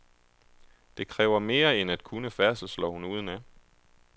Det kræver mere end at kunne færdselsloven udenad.